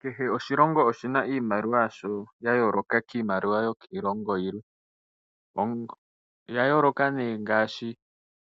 Kehe oshilongo oshina iimaliwa yasho ya yooloka kiimaliwa yokiilongo yilwe . Oya yooloka nee ngaashi